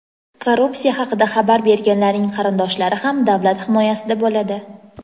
Korrupsiya haqida xabar berganlarning qarindoshlari ham davlat himoyasida bo‘ladi.